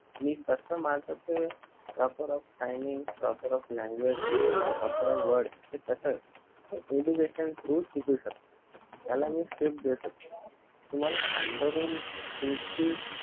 मी फक्त माणसाचे proper of timing, proper of language, proper of word हे कस हे education through च शिकु शकतो त्याला मी script देऊ शकतो तुम्हला हात धरून तुमची